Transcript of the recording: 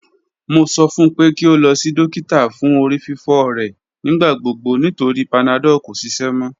Mo sọ fun pe ki o lọ si dokita fun orififo rẹ nigbagbogbo nitori panadol ko ṣiṣẹ mọ